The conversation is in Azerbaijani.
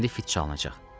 İndi fit çalınacaq.